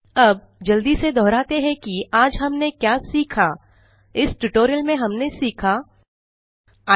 अब जल्दी से दोहराते हैं कि आज हमने क्या सीखा इस ट्यूटोरियल में हमने सीखा 1